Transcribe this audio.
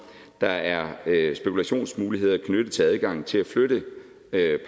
der er spekulationsmuligheder knyttet til adgangen til at flytte